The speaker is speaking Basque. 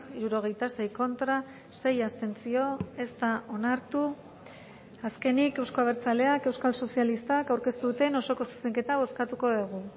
hirurogeita sei contra sei abstentzio ez da onartu azkenik euzko abertzaleak euskal sozialistak aurkeztu duten osoko zuzenketa bozkatuko dugu